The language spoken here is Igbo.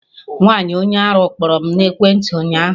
Nwaanyi onye arụ kpọrọ m n'ekwentị ụnyaahụ